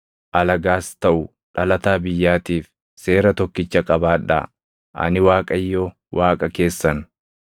Alagaas taʼu dhalataa biyyaatiif seera tokkicha qabaadhaa. Ani Waaqayyo Waaqa keessan.’ ”